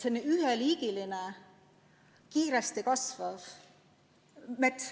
See on üheliigiline kiiresti kasvav mets.